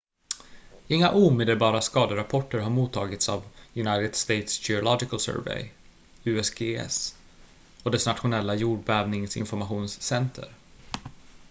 inga omedelbara skaderapporter har mottagits av united states geological survey usgs och dess nationella jordbävningsinformationscenter